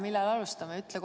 Millal me alustame?